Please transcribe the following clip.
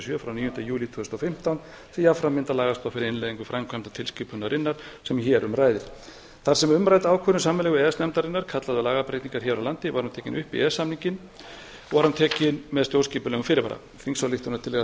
sjö frá níunda júlí tvö þúsund og fimmtán sem jafnframt myndar lagastoð fyrir innleiðingu framkvæmdartilskipunarinnar sem hér um ræðir þar sem umrædd ákvörðun sameiginlegu e e s nefndarinnar kallaði á lagabreytingar hér á land var hún tekin upp í e e s samninginn með stjórnskipulegum fyrirvara þingsályktunartillaga þessi